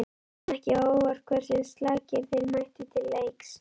Kom ekki á óvart hversu slakir þeir mættu til leiks?